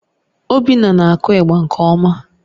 Obinna na-akụ ịgba nke ọma